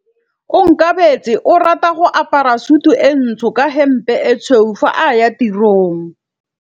Onkabetse o rata go apara sutu e ntsho ka hempe e tshweu fa a ya tirong.